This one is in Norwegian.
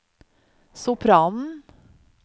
sopranen